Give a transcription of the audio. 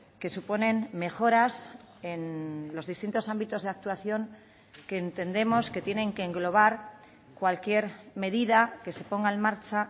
que suponen mejoras en los distintos ámbitos de actuación que entendemos que tienen que englobar cualquier medida que se ponga en marcha